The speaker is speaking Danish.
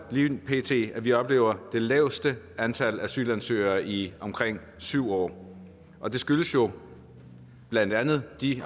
lige pt at vi oplever det laveste antal asylansøgere i omkring syv år og det skyldes jo blandt andet de